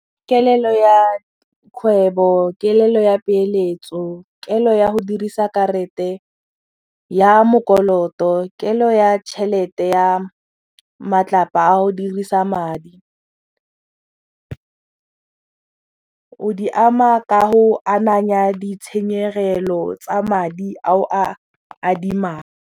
Kelelo ya kgwebo, kelelo ya peeletso, kelo ya go dirisa karete ya mokoloto, kelo ya tšhelete ya matlapa a go dirisa madi, o di ama ka go ananya ditshenyegelo tsa madi a o a adimang.